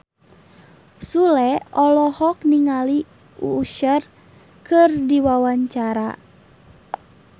Sule olohok ningali Usher keur diwawancara